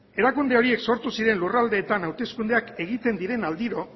erakunde horiek sortu ziren lurraldeetan hauteskundeak egiten diren aldiro